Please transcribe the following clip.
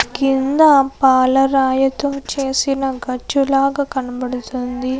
కింద పాలరాయితో చేసిన గచ్చులాగా కనపడుతుంది.